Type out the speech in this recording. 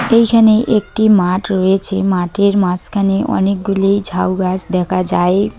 এইখানে একটি মাঠ রয়েছে। মাঠের মাঝখানে অনেকগুলি ঝাউ গাছ দেখা যায়।